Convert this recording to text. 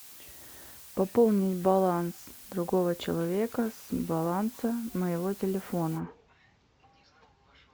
пополнить баланс другого человека с баланса моего телефона